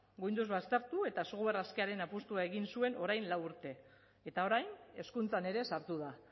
windows baztertu eta software askearen apustua egin zuen orain lau urte eta orain hezkuntzan ere sartu da